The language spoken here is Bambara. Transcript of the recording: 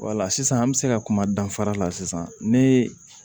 sisan an bɛ se ka kuma danfara la sisan ne